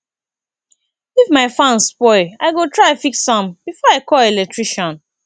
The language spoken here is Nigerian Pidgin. if my fan spoil i go try fix am before i call electrician